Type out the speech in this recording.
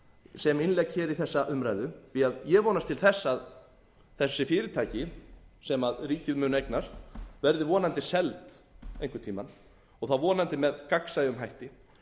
sem innlegg hér í þessa umræðu því ég vonast til þess að þessi fyrirtæki sem ríkið mun eignast verði vonandi seld einhvern tímann og þá vonandi með gagnsæjum hætti